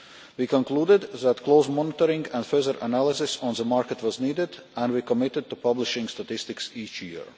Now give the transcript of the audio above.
We concluded that close monitoring and further analysis of the market was needed, and we committed to publishing statistics each year.